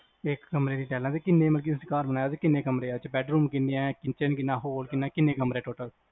ਇੱਕ ਕਮਰੇ ਚ ਟਾਈਲਾਂ ਮਤਲਬ ਕ ਕਿਹਨੇ ਚ ਘਰ ਬਣਾਇਆ ਕਿਹਨੇ ਕਮਰਿਆ ਬੈੱਡਰੂਮ ਕਿਹਨੇਆ ਕਿਚਨ ਕਿਹਨਾਂ ਹੋਰ ਕਿਹਨਾਂ ਕਿਹਨੇ ਕਮਰਿਆ total